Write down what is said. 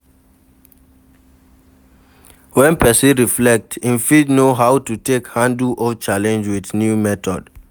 When person reflect im fit know how to take handle old challenge with new method